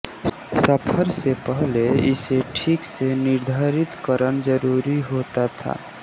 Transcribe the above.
सफ़र से पहले इसे ठीक से निर्धिरित करन ज़रूरी होता था